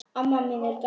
Amma mín er dáin.